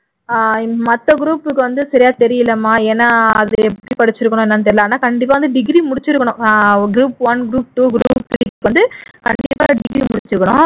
அஹ் மத்த group க்கு வந்து சரியா தெரியலைமா ஏன்னா அது எப்படி படிச்சிருக்கணும் என்னனு தெரியலை ஆனா கண்டிப்பா வந்து degree முடிச்சிருக்கணும் group one group two group three க்கு வந்து கண்டிப்பா degree முடிச்சிருக்கணும்